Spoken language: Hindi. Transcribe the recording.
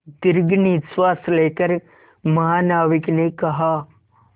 दीर्घ निश्वास लेकर महानाविक ने कहा